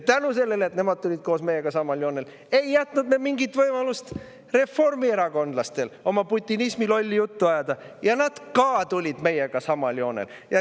Tänu sellele, et nemad tulid koos meiega samale joonele, ei jätnud me mingit võimalust reformierakondlastele lolli putinismijuttu ajada ning nad tulid ka meiega samale joonele.